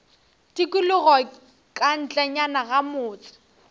tikologo ka ntlenyana ga motse